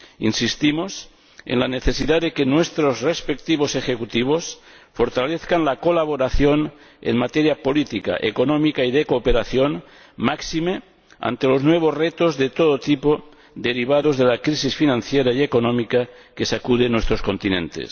Insistimos en la necesidad de que nuestros respectivos ejecutivos fortalezcan la colaboración en materia política, económica y de cooperación, máxime ante los nuevos retos de todo tipo derivados de la crisis financiera y económica que sacude nuestros continentes.